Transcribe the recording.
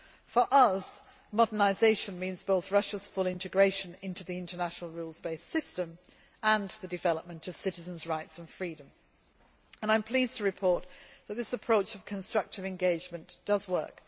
For us, modernisation means both Russia's full integration into the international rules based system and the development of citizens' rights and freedoms and I am pleased to report that this approach of constructive engagement does work.